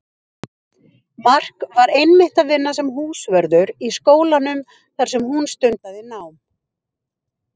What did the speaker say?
Mark var einmitt að vinna sem húsvörður í skólanum þar sem hún stundaði nám.